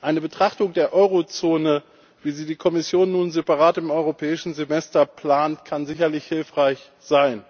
Eine Betrachtung der Eurozone, wie sie die Kommission nun separat im Europäischen Semester plant, kann sicherlich hilfreich sein.